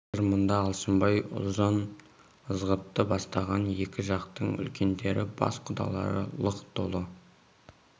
қазір мұнда алшынбай ұлжан ызғұтты бастаған екі жақтың үлкендері бас құдалары лық толы